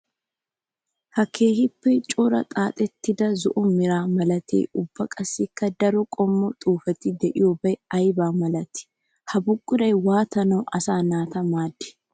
Ha keehippe cora xaaxettiddi zo'o mera malattiya ubba qassikka daro qommo xuufetti de'iyobay aybba malatti? Ha buquray waattanawu asaa naata maadi?